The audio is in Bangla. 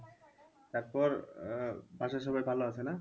তারপর আহ বাসার সবাই ভালো আছে না?